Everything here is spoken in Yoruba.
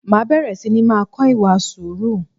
Máa bẹ̀rẹ̀ sini máa kọ ìwà sùúrù